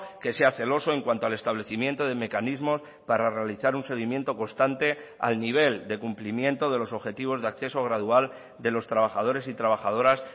que sea celoso en cuanto al establecimiento de mecanismos para realizar un seguimiento constante al nivel de cumplimiento de los objetivos de acceso gradual de los trabajadores y trabajadoras